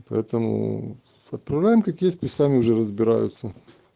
поэтому отправляем как есть пусть сами уже разбираются